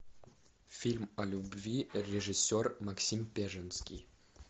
фильм о любви режиссер максим пежемский